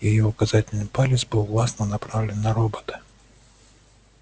её указательный палец был властно направлен на робота